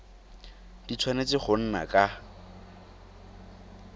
di tshwanetse go nna ka